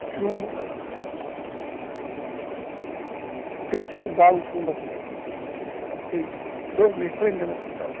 É chumbo. Eu tenho seis balas de chumbo aqui, ó. Passei dois meses, três meses no hospital.